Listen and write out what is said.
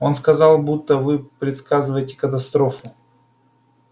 он сказал будто вы предсказываете катастрофу